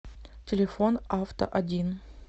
телефон авто один